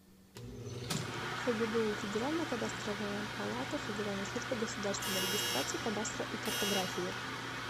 фгбу федеральная кадастровая палата федеральной службы государственной регистрации кадастра и картографии